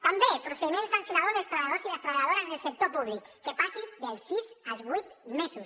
també procediment sancionador dels treballadors i les treballadores del sector públic que passi dels sis als vuit mesos